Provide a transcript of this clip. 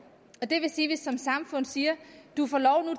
og det vil sige at vi som samfund siger du får lov